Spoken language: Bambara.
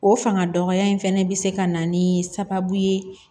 O fanga dɔgɔya in fɛnɛ bɛ se ka na ni sababu ye